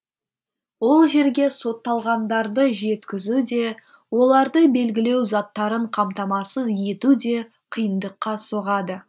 ол жерге сотталғандарды жеткізу де оларды белгілеу заттарын қамтамасыз ету де қиындыққа соғады